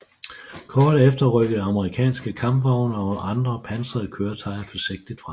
Kort efter rykkede amerikanske kampvogne og andre pansrede køretøjer forsigtigt frem